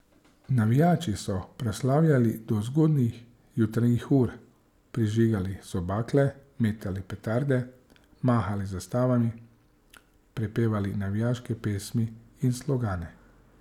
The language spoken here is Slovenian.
Navijači so proslavljali do zgodnjih jutranjih ur, prižigali so bakle, metali petarde, mahali z zastavami, prepevali navijaške pesmi in slogane ...